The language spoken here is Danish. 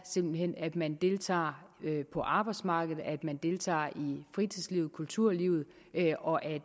simpelt hen er at man deltager på arbejdsmarkedet at man deltager i fritidslivet i kulturlivet og at